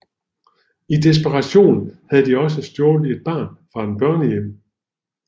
I desperation havde de også stjålet et barn fra en børnehjem